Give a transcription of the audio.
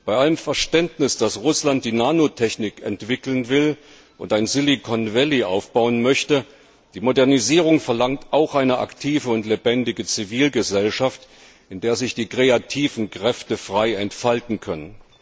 Bei allem Verständnis dafür, dass Russland die Nanotechnologie entwickeln will und ein Silicon Valley aufbauen möchte die Modernisierung verlangt auch eine aktive und lebendige Zivilgesellschaft, in der sich die kreativen Kräfte frei entfalten können.